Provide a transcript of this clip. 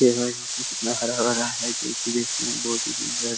देखो यहाँ पे कितना हरा-भरा है जो की देखने मे बहुत ही सुंदर --